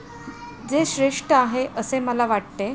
जे श्रेष्ठ आहे, असे मला वाटते.